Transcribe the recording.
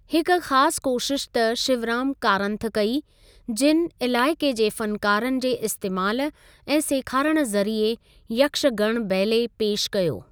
हिकु ख़ासि कोशिश त शिवराम कारंथ कई, जिनि इलाइके जे फ़नकारनि जे इस्‍तेमालु ऐं सेखारण जरिए यक्षगण बैले पेश कयो।